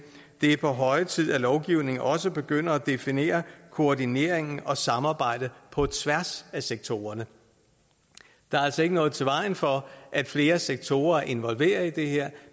det er på høje tid at lovgivningen også begynder at definere koordineringen og samarbejdet på tværs af sektorerne der er altså ikke noget i vejen for at flere sektorer er involveret i det her